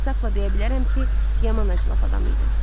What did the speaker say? İnsafla deyə bilərəm ki, yaman acılaf adam idi.